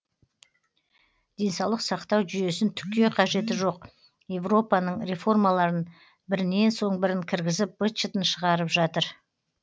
денсаулық сақтау жүйесін түкке қажеті жоқ европаның реформаларын бірінен соң бірін кіргізіп быт шытын шығарып жатыр